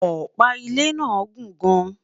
ọpa ilé nà gùn gaan